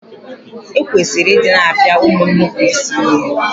E kwesịrị I di na-apia ụmụ nnupuisi ihe.